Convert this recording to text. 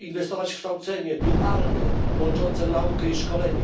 inwestować w kształcenie dualne łączące naukę i szkolenie,